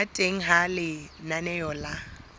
ba teng ha lenaneo la